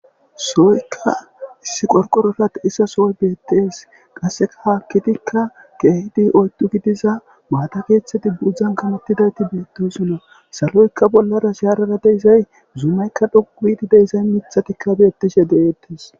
sooykka issi qorqororat issasooy beettes qasseka haakkitikka keehidi oydu gidiza maata keeththedi buudzdzan kamottidayti beettosonna saloyka bollara shaarara deizay zuumaykka dhoquhidi deizay mithatikka beettishe deeettes